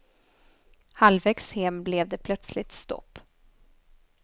Halvvägs hem blev det plötsligt stopp.